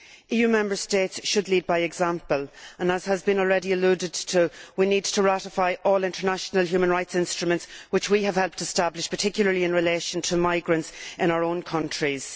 EU Member States should lead by example, and, as has already been alluded to, we need to ratify all international human rights instruments that we have helped establish, particularly in relation to migrants in our own countries.